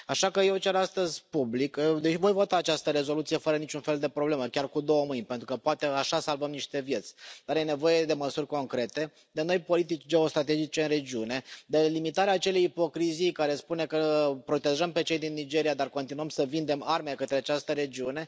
Așa că eu cer astăzi public și voi vota această rezoluție fără niciun fel de problemă, chiar cu două mâini, pentru că poate așa salvăm niște vieți dar este nevoie de măsuri concrete, de noi politici geostrategice în regiune, de limitarea acelei ipocrizii care spune că îi protejăm pe cei din Nigeria, dar continuăm să vindem arme către această regiune.